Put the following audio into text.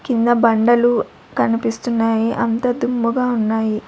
కింద బండలు కనిపిస్తున్నాయి అంత దుమ్ముగా ఉన్నాయి.